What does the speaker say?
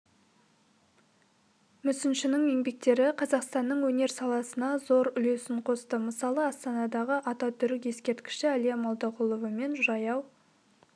мүсіншінің еңбектері қазақстанның өнер саласына зор үлесін қосты мысалы астанадағы ататүрік ескерткіші әлия молдағұлова мен жаяу